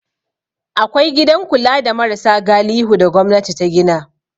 Akwai gidan kula da marasa galihu da gwamnati ta gina.